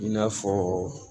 I n'a fɔ